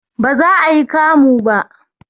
Baza ayi kamu ba